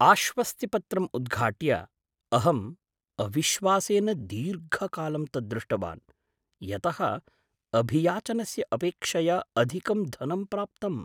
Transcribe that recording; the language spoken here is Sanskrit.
आश्वस्तिपत्रम् उद्घाट्य, अहं अविश्वासेन दीर्घकालं तत् दृष्टवान्, यतः अभियाचनस्य अपेक्षया अधिकं धनं प्राप्तम्।